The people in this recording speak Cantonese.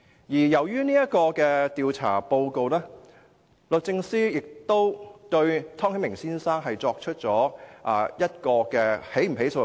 由於這份調查報告，律政司亦曾經考慮對湯顯明先生作出起訴。